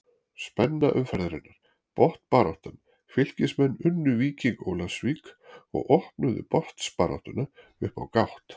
Spenna umferðarinnar: Botnbaráttan Fylkismenn unnu Víking Ólafsvík og opnuðu botnbaráttuna upp á gátt.